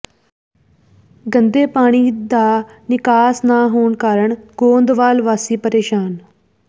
ਗੰਦੇ ਪਾਣੀ ਦਾ ਨਿਕਾਸ ਨਾ ਹੋਣ ਕਾਰਨ ਗੋਂਦਵਾਲ ਵਾਸੀ ਪ੍ਰੇਸ਼ਾਨ